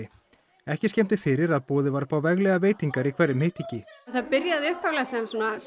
ekki skemmdi fyrir að boðið var upp á veglegar veitingar í hverjum hittingi það byrjaði upphaflega sem